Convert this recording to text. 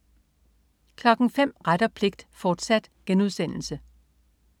05.00 Ret og pligt, fortsat*